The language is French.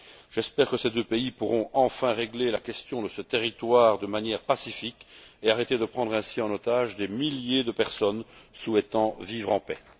J'espère que ces deux pays pourront enfin régler la question de ce territoire de manière pacifique et arrêter de prendre ainsi en otage des milliers de personnes souhaitant vivre en paix.